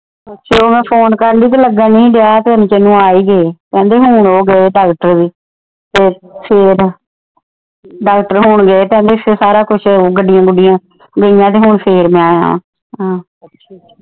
ਤੇ ਉਹ ਮੈ ਫੋਨ ਕਰਨਦੀ ਤੇ ਲਗਨ ਨਹੀਂ ਹੀ ਦਿਆ ਤੇ ਓਹਨੇ ਚਿਰ ਨੂੰ ਆ ਈ ਗਏ ਕਹਿੰਦੇ ਹੁਣ ਉਹ ਗਏ ਡਾਕਟਰ ਵੀ ਤੇ ਫਿਰ ਡਾਕਟਰ ਹੁਣ ਗਏ ਤੇ ਆਂਦੇ ਸਾਰਾ ਕੁਝ ਗੱਡੀਆਂ ਗੁਡੀਆਂ ਗਈਆਂ ਤੇ ਹੁਣ ਫਿਰ ਮੈ ਆਇਆ।